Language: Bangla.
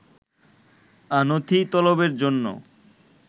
নথি তলবের জন্য